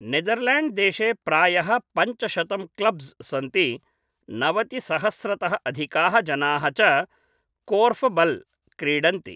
नेदरल्याण्ड्देशे प्रायः पञ्चशतं क्लब्स् सन्ति, नवतिसहस्रतः अधिकाः जनाः च कोर्फबल् क्रीडन्ति ।